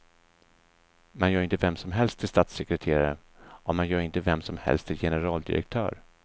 Man gör inte vem som helst till statssekreterare, och man gör inte vem som helst till generaldirektör.